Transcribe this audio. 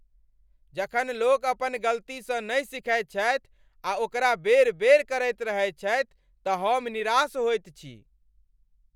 जखन लोक अपन गलतीसँ नहि सीखैत छथि आ ओकरा बेर बेर करैत रहैत छथि तऽ हम निराश होइत छी ।